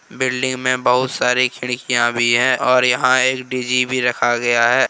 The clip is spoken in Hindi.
बिल्डिंग में बहुत सारी खिड़कियां भी हैंऔर यहां एक डी_जी भी रखा गया है।